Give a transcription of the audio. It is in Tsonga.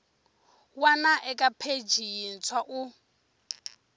wana eka pheji yintshwa u